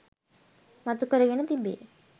මතුකරගෙන තිබේ